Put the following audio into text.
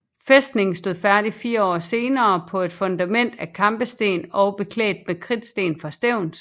Fæstningen stod færdig fire år senere på et fundament af kampesten og beklædt med kridtsten fra Stevns